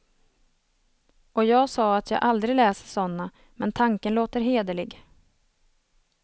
Och jag sa att jag aldrig läser såna, men tanken låter hederlig.